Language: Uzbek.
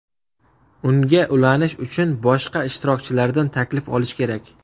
Unga ulanish uchun boshqa ishtirokchilardan taklif olish kerak.